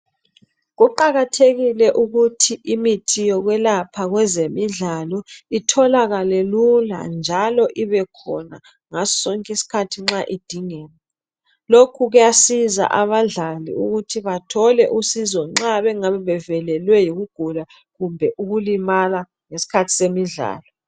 Kuqakathekile ukuthi imithi yokwelapha kwezemidlalo itholakale lula, njalo ibekhona ngasosonki'sikhathi nxa idingeka, lokhu kuyasiza abadlali ukuthi bathole usizo nxa bengabebevelelwe yikugula kumbe ukulimala ngesikhathi abemidlalo.